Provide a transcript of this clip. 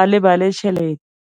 a lebale tšhelete.